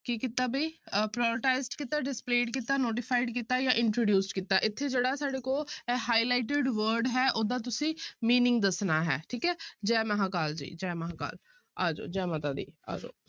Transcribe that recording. ਕੀ ਕੀਤਾ ਵੀ ਅਹ prioritize ਕੀਤਾ displayed ਕੀਤਾ notified ਕੀਤਾ ਜਾਂ introduce ਕੀਤਾ ਇੱਥੇ ਜਿਹੜਾ ਸਾਡੇ ਕੋਲ ਇਹ highlighted word ਹੈ ਉਹਦਾ ਤੁਸੀਂ meaning ਦੱਸਣਾ ਹੈ ਠੀਕ ਹੈ ਜੈ ਮਹਾਂ ਕਾਲ ਜੀ ਜੈ ਮਹਾਂ ਕਾਲ ਆ ਜਾਓ ਜੈ ਮਾਤਾ ਦੀ ਆ ਜਾਓ।